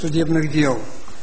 судебных дел